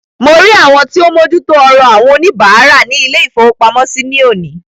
Mo rí àwọn tí o ń mójú tó ọrọ àwọn oníbàárà ilé-ìfowópamọ́sí ní òní.